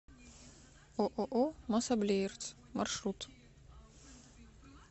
ооо мособлеирц маршрут